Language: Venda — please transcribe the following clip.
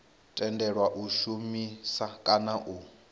tendelwa u shumisa kana u